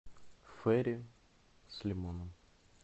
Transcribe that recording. фейри с лимоном